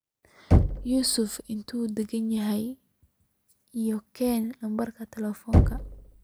yusuf intee u daganyahay iyo keeh nambarkiisa telefonka